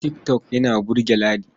Tik tok yana burge Ladi.